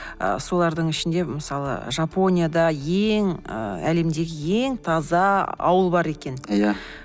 ы солардың ішінде мысалы жапонияда ең ыыы әлемдегі ең таза ауыл бар екен иә